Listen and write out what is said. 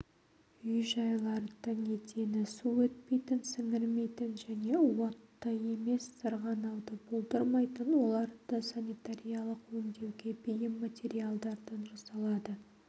үй-жайлардың едені су өтпейтін сіңірмейтін және уытты емес сырғанауды болдырмайтын оларды санитариялық өңдеуге бейім материалдардан жасалады